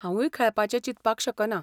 हांवुय खेळपाचें चिंतपाक शकना.